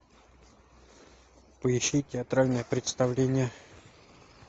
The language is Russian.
поищи театральное представление